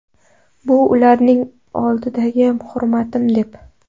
Bu ularning oldidagi hurmatim’, deb”.